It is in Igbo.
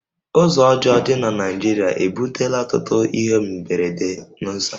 Ụzọ ọjọọ dị na Naịjirịa ebutela ọtụtụ ihe mberede n'ụzọ